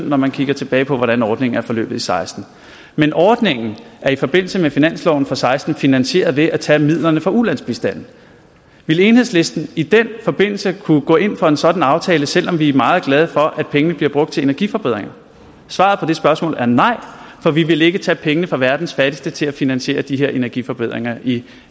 når man kigger tilbage på hvordan ordningen er forløbet i seksten men ordningen er i forbindelse med finansloven for seksten finansieret ved at tage midlerne fra ulandsbistanden ville enhedslisten i den forbindelse kunne gå ind for en sådan aftale selv om vi er meget glade for at pengene bliver brugt til energiforbedringer svaret på det spørgsmål er nej for vi vil ikke tage pengene fra verdens fattigste til at finansiere de her energiforbedringer i